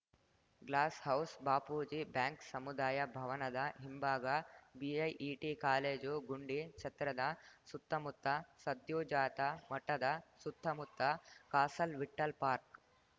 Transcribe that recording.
glass house Bapuji bank ಸಮುದಾಯ ಭವನದ ಹಿಂಭಾಗ ಬಿಐಇಟಿ ಕಾಲೇಜು ಗುಂಡಿ ಛತ್ರದ ಸುತ್ತಮುತ್ತ ಸದ್ಯೋಜಾತ ಮಠದ ಸುತ್ತಮುತ್ತ ಕಾಸಲ್‌ ವಿಠ್ಠಲ್‌ ಪಾರ್ಕ್